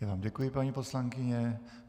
Já vám děkuji, paní poslankyně.